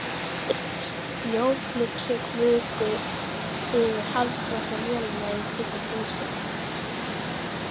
Snjóflyksur fuku yfir harðfrosna mölina í kringum húsið.